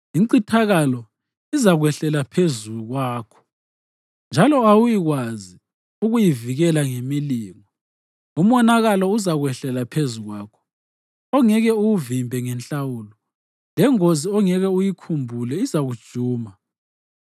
Incithakalo izakwehlela phezu kwakho, njalo awuyikwazi ukuyivikela ngemilingo. Umonakalo uzakwehlela phezu kwakho, ongeke uwuvimbe ngenhlawulo, lengozi ongeke uyikhumbulele izakujuma.